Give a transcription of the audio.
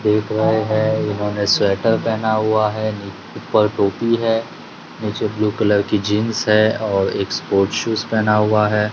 एक भाई है इन्होंने स्वेटर पहना हुआ है नि ऊपर टोपी है नीचे ब्ल्यू कलर की जीन्स है और एक स्पॉट्स शूज पहना हुआ है।